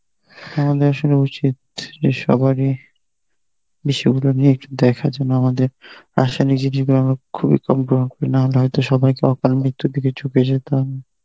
আমাদের আসলে উচিত যে সবারই বিষয়গুলো নিয়ে একটু দেখা যেন আমাদের খুবই কম গ্রহণ করি না হলে হয়তো সবাইকে অকাল মৃত্যুর দিকে ঝুঁকে যেতে হয় না.